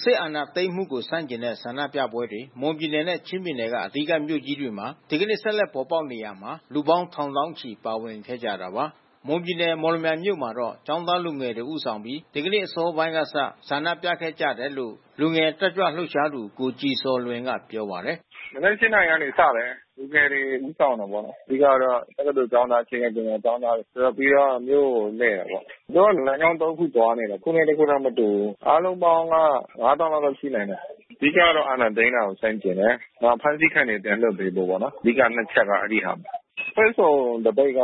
စစ်အာဏာသိမ်းမှုကို ဆန့်ကျင်တဲ့ ဆန္ဒပြပွဲတွေ မွန်ပြည်နယ်နဲ့ ချင်းပြည်နယ်က အဓိကမြို့ကြီးတွေမှာ ဒီကနေ့ ဆက်လက်ပေါ်ပေါက်နေရာမှာ လူပေါင်းထောင်သောင်းချီ ပါဝင်ခဲ့ကြတာပါ။ မွန်ပြည်နယ် မော်လမြိုင်မြို့မှာတော့ ကျောင်းသားလူငယ်တွေ ဦးဆောင်ပြီး ဒီကနေ့အစောပိုင်းကစ ဆန္ဒပြခဲ့ကြတယ်လို့လည်း လူငယ်တက်ကြွလှုပ်ရှားသူ ကိုကြည်ဇော်လွင်က ပြောပါတယ်။ “မနက် ၈ နာရီကနေ စတယ်။ လူငယ်တွေ ဦးဆောင်တာပေါ့နော်။ အဓိကကတော့ တက္ကသိုလ်ကျောင်းသား အခြေခံပညာကျောင်းသားတွေ အဓိကမြို့ကိုလှည့်တာပေါ့။ သူတို့ကလမ်းကြောင်း သုံး ခု သွားနေတယ်။ တခုနဲ့ တခုမတူဘူးပေါ့။ အားလုံးပေါင်းက ၅၀,၀၀၀ လောက်တော့ရှိနိုင်တယ်။ အဓိကကတော့ အာဏာသိမ်းတာကို ဆန့်ကျင်တယ်။ နောက်အဖမ်းဆီးခံတာတွေ ပြန်လွှတ်ပေးဖို့ပေါ့နော်... အဓိက နှစ်ချက်က အဲဒီဟာပါပဲ။ အဖွဲ့စုံသပိတ်က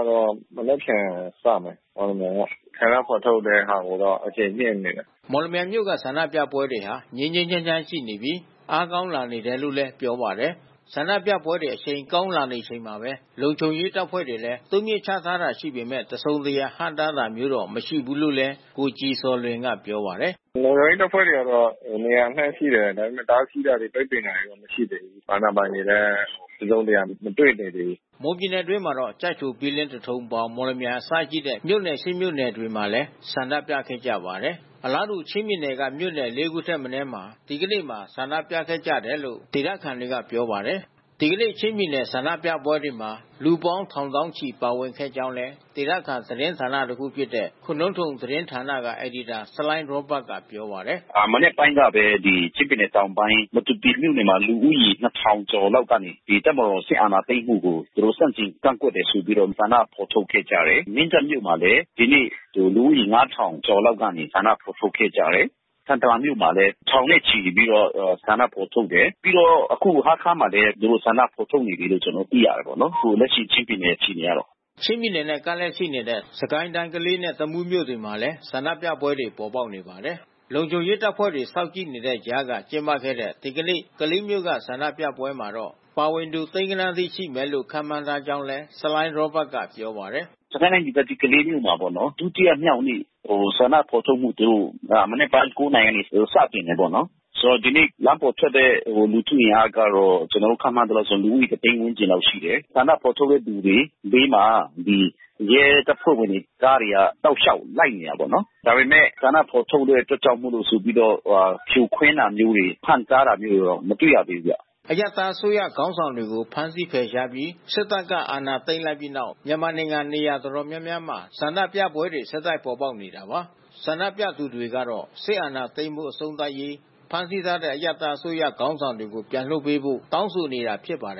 မနက်ဖြန်စမယ်... မော်လမြိုင်က။ ဆန္ဒဖော်ထုတ်တဲ့ဟာကိုတော့ အရှိန်မြှင့်နေတယ်။” မော်လမြိုင်မြို့က ဆန္ဒပြပွဲတွေဟာ ငြိမ်းငြိမ်းချမ်းချမ်းရှိနေပြီ အားကောင်းလာနေတယ်လို့လည်း ပြောပါတယ်။ ဆန္ဒပြပွဲတွေ အရှိန်ကောင်းလာနေချိန်မှာပဲ လုံခြုံရေးတပ်ဖွဲ့တွေလည်း တိုးမြှင့်ချထားတာရှိပေမဲ့ တစုံတရာ ဟန့်တားတာမျိုးတော့ မရှိဘူးလို့လည်း ကိုကြည်ဇော်လွင်က ပြောပါတယ်။ “လုံခြုံရေးတပ်ဖွဲ့တွေကတော့ နေရာအနှံ့ရှိတယ်။ ဒါပေမဲ့တားဆီးတာတွေ ပိတ်ပင်တာတွေတော့မရှိဘူး။ အာဏာပိုင်တွေလည်း တစုံတရာ မတွေ့နိုင်သေးဘူး။” မွန်ပြည်နယ်အတွင်းမှာတော့ ကျိုက်ထို ဘီလင်း သထုံ ပေါင် မော်လမြိုင် အစရှိတဲ့ မြို့နယ် ၈ မြို့နယ်မှာလည်း ဆန္ဒပြခဲ့ကြပါတယ်။ အလားတူ ချင်းပြည်နယ်က မြို့နယ် လေး ခုထက်မနည်းမှာ ဒီကနေ့မှာ ဆန္ဒပြခဲ့ကြတယ်လို့ ဒေသခံတွေက ပြောပါတယ်။ ဒီကနေ့ ချင်းပြည်နယ်က ဆန္ဒပြပွဲတွေမှာ လူပေါင်းထောင်သောင်းချီ ပါဝင်ခဲ့ကြောင်းလည်း ဒေသခံသတင်းဌာန တခုဖြစ်တဲ့ ခိုနုန်းသုမ်သတင်းဌာနက အယ်ဒီတာ ဆလိုင်းရောဘတ်ကပြောပါတယ်။ “မနက်ပိုင်းကပဲ ချင်းပြည်နယ်တောင်ပိုင်း မတူပီမြို့နယ်မှာ လူဦးရေ ၂,၀၀၀ ကျော်လောက်က ဒီတပ်မတော်စစ်အာဏာသိမ်းမှုကို သူတို့ဆန့်ကျင်ကန့်ကွက်တယ်ဆိုပြီးတော့ ဆန္ဒဖော်ထုတ်ခဲ့ကြတယ်။ မင်းတပ်မြို့မှာလည်း လူဦးရေ ၅,၀၀၀ ကျော်လောက်က ဆန္ဒ ဖော်ထုတ်ခဲ့ကြတယ်။ ထန်တလန်မြို့မှာလည်း ထောင်နဲ့ချီပြီးတော့ ဆန္ဒဖော်ထုတ်တယ်။ ပြီးတော့အခုဟားခါးမှာလည်း သူတို့ဆန္ဒဖော် ထုတ်နေကြပြီးလို့ ကျနော်တို့ သိရတယ်ပေါ့နော်။ အခုလက်ရှိ ချင်းပြည်နယ်အခြေအနေကတော့။” ချင်းပြည်နယ်နဲ့ ကပ်လျက်ရှိနေတဲ့ စစ်ကိုင်းတိုင်း၊ ကလေးနဲ့ တမူးမြို့တွေမှာလည်း ဆန္ဒပြပွဲတွေ ပေါ်ပေါက်နေပါတယ်။ လုံခြုံရေးတပ်ဖွဲ့တွေ စောင့်ကြည့်နေတဲ့ကြားက ကျင်းပခဲ့တဲ့ ဒီကနေ့ ကလေးမြို့က ဆန္ဒပြပွဲမှာတော့ ပါဝင်သူ သိန်းဂဏန်းအထိရှိမယ်လို့ ခန့်မှန်းထားကြောင်းလည်း ဆလိုင်းရောဘတ်ကပြောပါတယ်။ “စစ်ကိုင်းတိုင်းဒေသကြီး ကလေးမြို့မှာပေါ့နော်... ဒုတိယမြောက်နေ့ ဆန္ဒဖော်ထုတ်မှုတို့ မနက်က ၉ နာရီက စတင်တာပေါ့နော်။ ဒီနေ့ လမ်းပေါ်ထွက်တဲ့လူထုအင်အားကတော့ ကျနော်တို့ ခန့်မှန်းသလောက်ဆိုရင် လူဦးရေ ၁၀၀,၀၀၀ ဝန်းကျင်လောက်ရှိတယ်။ ဆန္ဒဖော်ထုတ်တဲ့သူတွေဘေးမှာ ရဲတပ်ဖွဲ့ဝင်တွေ ကားတွေက တောက်ရှောက်လိုက်နေတာပေ့ါနော်။ ဒါပေမဲ့ ဆန္ဒဖော်ထုတ်တဲ့အတွက်ကြောင့်မို့လို့ ဆိုပြီးတော့ ဖြိုခွင်းတာတို့ ဟန့်တားတာမျိုးတွေ မတွေ့ရသေးဘူးဗျ။” အရပ်သားအစိုးရခေါင်းဆောင်တွေကို ဖမ်းဆီးဖယ်ရှားပြီး စစ်တပ်က အာဏာသိမ်းလိုက်ပြီးနောက် မြန်မာနိုင်ငံ နေရာတော်တော်များများမှာ ဆန္ဒပြပွဲတွေ ဆက်တိုက်ပေါ်ပေါက်နေတာပါ။ ဆန္ဒပြသူတွေကတော့ စစ်အာဏာသိမ်းမှု အဆုံးသတ်ရေး၊ ဖမ်းဆီးထားတဲ့ အရပ်သား အစိုးရ ခေါင်းဆောင်တွေကို ပြန်လွှတ်ပေးဖို့ တောင်းဆိုနေတာ ဖြစ်ပါတယ်